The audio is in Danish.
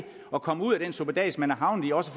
at komme ud af den suppedas man er havnet i også